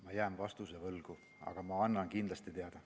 Ma jään vastuse võlgu, aga ma annan kindlasti teada.